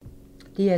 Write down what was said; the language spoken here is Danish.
DR2